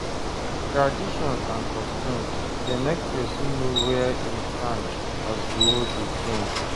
Traditions and customs de make persin know where im stand as di world de change